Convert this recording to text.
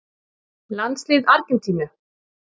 Landslið Argentínu: